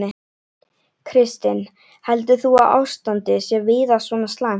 Kristinn: Heldur þú að ástandið sé víða svona slæmt?